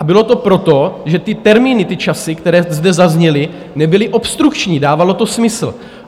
A bylo to proto, že ty termíny, ty časy, které zde zazněly, nebyly obstrukční, dávalo to smysl.